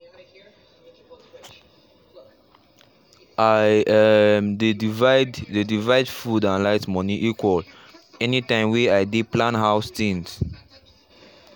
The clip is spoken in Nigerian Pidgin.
i um dey divide dey divide food and light moni equal any time way i dey plan house things